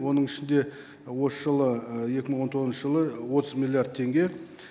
оның ішінде осы жылы екі мың он тоғызыншы жылы отыз миллиард теңге